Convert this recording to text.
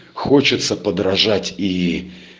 хочется подражать и